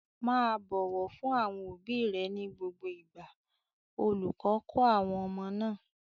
"Má a bọ̀wọ̀ fún àwọn òbí rẹ ní gbogbo ìgbà!" Olùkọ́ kọ́ àwọn ọmọ náà.